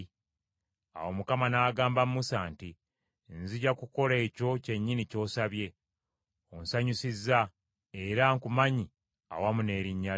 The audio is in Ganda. Awo Mukama n’agamba Musa nti, “Nzija kukola ekyo kyennyini ky’osabye; onsanyusizza, era nkumanyi awamu n’erinnya lyo.”